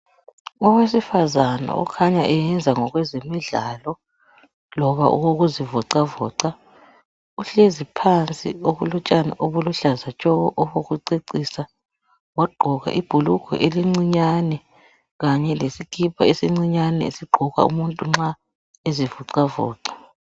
Owesifazana okhanya eyenza ngokwemidlalo kumbe okokuzivoxavoxa. Uhlazi phansi phezu kotshani obuluhlaza tshoko obokucecisa .Wagqoka ibhulugwe elincinyane kanye lesikipa esincinyane esigqokwa umuntu nxa ezivoxavoxa